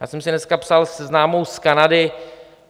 Já jsem si dneska psal se známou z Kanady.